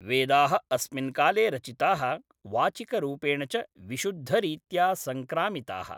वेदाः अस्मिन् काले रचिताः, वाचिकरूपेण च विशुद्धरीत्या सङ्क्रामिताः।